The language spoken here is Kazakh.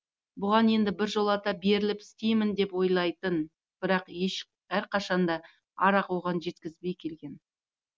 бұған енді біржолата беріліп істеймін деп ойлайтын бірақ әрқашанда арақ оған жеткізбей келген